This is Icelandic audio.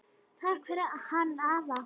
Takk fyrir hann afa.